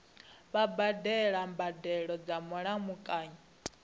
vha badela mbadelo dza mulamukanyi